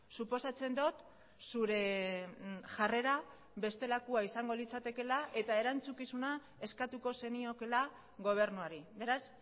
suposatzen dut zure jarrera bestelakoa izango litzatekeela eta erantzukizuna eskatuko zeniokeela gobernuari beraz